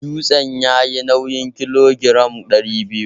Dutsen yayi nawin kilogiram ɗari biyu.